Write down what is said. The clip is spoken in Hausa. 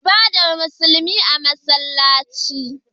Ibadar musulmi a masallaci